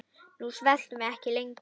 Nú sveltum við ekki lengur.